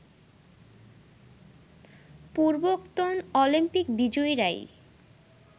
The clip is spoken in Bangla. পূর্বোক্তোন অলিম্পিক বিজয়ীরাই